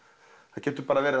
það getur verið